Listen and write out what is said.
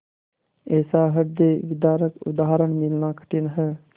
ऐसा हृदयविदारक उदाहरण मिलना कठिन है